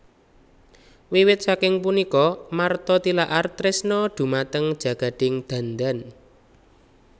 Wiwit saking punika Martha Tilaar tresna dhumateng jagading dandan